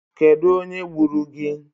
Kedụ onye gburu gị?